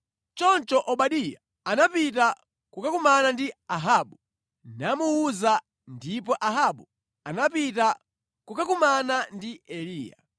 Choncho Obadiya anapita kukakumana ndi Ahabu, namuwuza, ndipo Ahabu anapita kukakumana ndi Eliya.